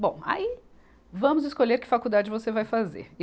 Bom, aí vamos escolher que faculdade você vai fazer.